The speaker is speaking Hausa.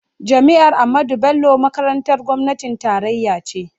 Jami'ar Ahmadu Bello makarantar gwamnatin tarayya ce.